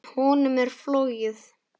Honum er flogið.